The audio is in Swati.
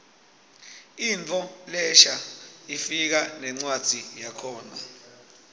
intfo lensha ifika nencwadzi yakhona